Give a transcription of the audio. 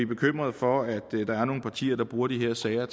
bekymret for at der er nogle partier der bruger de her sager